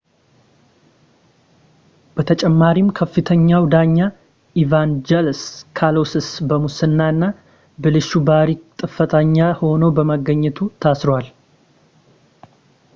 በተጨማሪም ከፍተኛው ዳኛ ኢቫንጀሎስ ካሎሲስ በሙስና እና ብልሹ ባህሪ ጥፋተኛ ሆኖ በመገኘቱ ታስሯል